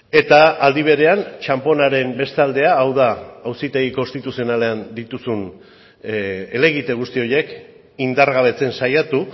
eta aldi berean txanponaren beste aldea hau da hauzitegi konstituzionalean dituzun helegite guzti horiek indargabetzen saiatu